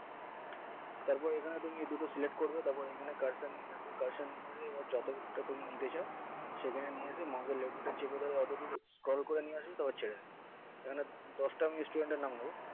তারপর এখানে তুমি এ দুটো select তারপর এখানে cursor নিয়ে আসবে cursor নিয়ে এসে এবার যত তা তুমি নিতে চাও সেখানে নিয়ে আসে mouse এর left button চেপে ধরে scroll করে নিয়ে আসবে তারপর ছেড়ে দেবে এখানে দশটা student এর নাম নেবো